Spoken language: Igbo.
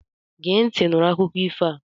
Gee ntị nụrụ akụkọ ifo a!